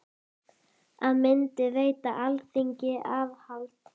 Það myndi veita Alþingi aðhald.